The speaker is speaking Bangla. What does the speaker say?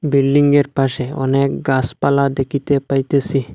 বিল্ডিংয়ের পাশে অনেক গাছপালা দেখিতে পাইতেছি।